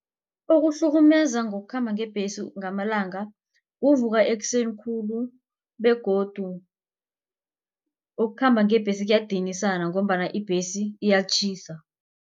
Ukuhlukumeza ngokukhamba ngebhesi ngamalanga kuvuka ekuseni khulu begodu ukukhamba ngebhesi kuyadinisa ngombana ibhesi iyatjhisa.